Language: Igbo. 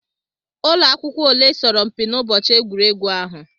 Ụlọ akwụkwọ ole soro mpi n'ụbọchị egwuregwu ahụ?